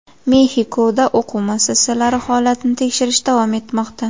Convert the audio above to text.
Mexikoda o‘quv muassasalari holatini teshirish davom etmoqda.